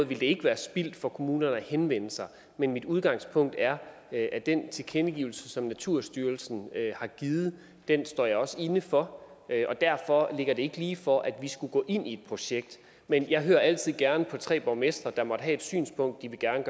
ville det ikke være spildt for kommunerne at henvende sig men mit udgangspunkt er at den tilkendegivelse som naturstyrelsen har givet står jeg også inde for derfor ligger det ikke ligefor at vi skulle gå ind i et projekt men jeg hører altid gerne på tre borgmestre der måtte have et synspunkt de gerne